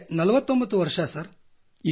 ನನಗೆ 49 ವರ್ಷ ಸರ್